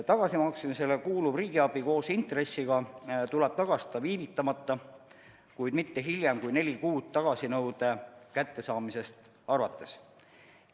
Tagasimaksmisele kuuluv riigiabi koos intressiga tuleb tagastada viivitamata, kuid mitte hiljem kui neli kuud tagasinõude kättesaamisest arvates.